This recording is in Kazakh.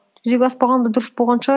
жүзеге аспағаны да дұрыс болған шығар